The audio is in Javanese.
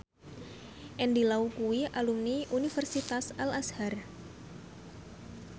Andy Lau kuwi alumni Universitas Al Azhar